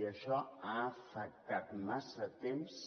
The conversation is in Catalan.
i això ha afectat massa temps